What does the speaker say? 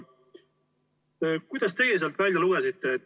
Mida teie sealt välja lugesite?